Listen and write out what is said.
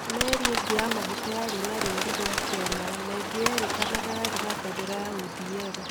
merĩ ĩngĩ ya maguta yarĩ na rũri rwa kenya na ĩngĩ yerĩkanaga yarĩ na fendera ya ODM